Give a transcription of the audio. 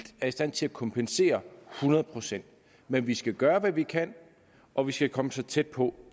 er i stand til at kompensere hundrede procent men vi skal gøre hvad vi kan og vi skal komme så tæt på